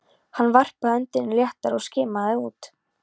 Hann varpaði öndinni léttar og skimaði út.